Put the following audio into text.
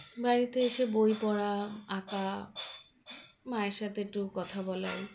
বাড়িতে এসে বই পড়া আঁকা মায়ের সাথে একটু কথা বলা ওই